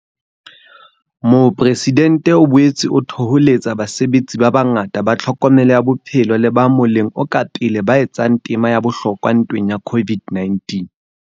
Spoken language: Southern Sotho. Mopresidentse o boetse a thoholetsa basebetsi ba bangata ba tlhokomelo ya bophelo le ba moleng o ka pele ba etsang tema ya bohlokwa ntweng ya COVID-19.